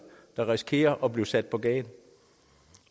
der risikerer at blive sat på gaden